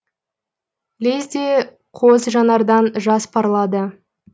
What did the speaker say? лезде қос жанардан жас парлады